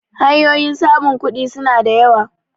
hanyoyin samun kudi suna da yawa